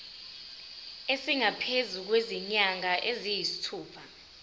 esingaphezu kwezinyanga eziyisithupha